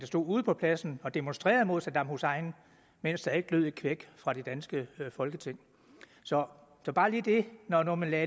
stod ude på pladsen og demonstrerede mod saddam hussein mens der ikke lød et kvæk fra det danske folketing så så bare lige dette når når man lagde